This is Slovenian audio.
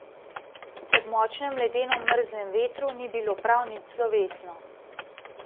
Ob močnem ledeno mrzlem vetru ni bilo prav nič slovesno.